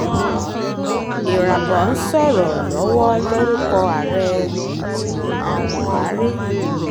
ìràbọ̀h ń sọ̀rọ̀ lọ́wọ́ lórúkọ ààrẹ um buhari